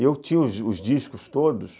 E eu tinha os discos todos